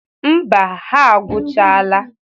Mba, ha agwọchala.